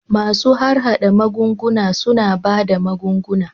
Masu harhada magunguna suna ba da magunguna